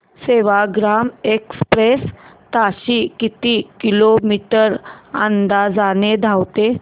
Sevagram express ताशी किती kilometre अंतराने धावते